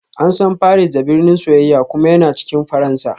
An san Paris da "birnin soyayya" kuma yana cikin Faransa